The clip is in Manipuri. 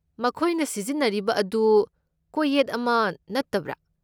ꯃꯈꯣꯏꯅ ꯁꯤꯖꯤꯟꯅꯔꯤꯕ ꯑꯗꯨ ꯀꯣꯌꯦꯠ ꯑꯃ ꯅꯠꯇꯕ꯭ꯔꯥ?